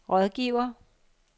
rådgiver